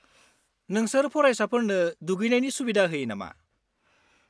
नोंसोर फरायसाफोरनो दुगैनायनि सुबिदा होयो नामा?